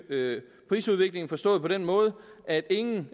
prisudviklingen forstået på den måde at ingen